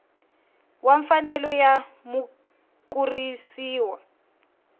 wa mfanelo ya mukurisi wa